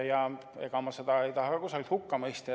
Ja ega ma seda ei taha ka hukka mõista.